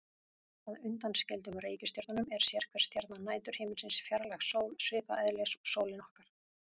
Að undanskildum reikistjörnunum er sérhver stjarna næturhiminsins fjarlæg sól, svipaðs eðlis og sólin okkar.